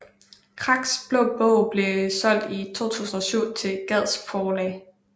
Kraks Blå Bog blev solgt i 2007 til Gads Forlag